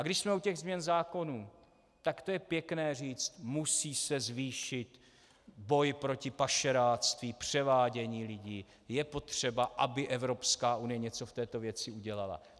A když jsme u těch změn zákonů, tak to je pěkné říci: musí se zvýšit boj proti pašeráctví, převádění lidí, je potřeba, aby Evropská unie něco v této věci udělala.